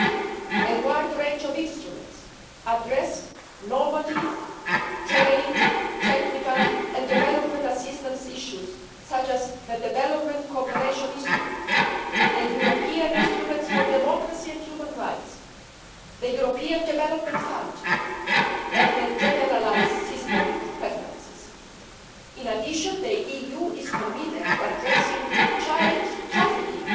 There are a wide range of instruments addressing normative, trade, technical and development assistance issues such as the development cooperation instrument, the European instruments for democracy and human rights, the European Development Fund and the Generalised System of Preferences. In addition, the EU is committed to addressing child trafficking